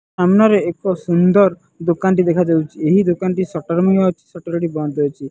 ସାମ୍ନାରେ ଏକ ସୁନ୍ଦର ଦୋକାନ ଟି ଦେଖାଯାଉଛି ଏହି ଦୋକାନ ଟି ସଟର ବି ଅଛି ସଟର ଏଠି ବନ୍ଦ ଅଛି।